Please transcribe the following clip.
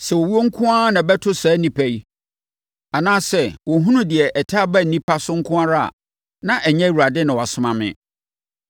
Sɛ owuo nko ara na ɛbɛto saa nnipa yi, anaa sɛ wɔhunu deɛ ɛtaa ba nnipa so nko ara a, na ɛnyɛ Awurade na wasoma me.